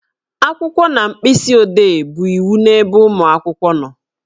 Akwụkwọ na mkpịsị odee bụ iwu n'ebe ụmụ akwụkwọ nọ